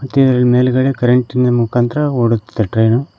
ಮತ್ತೆ ಇಲ್ ಮೇಲ್ಗಡೆ ಕರೆಂಟಿನ ಮುಖಾಂತರ ಓಡುತ್ತದೆ ಟ್ರೈನು.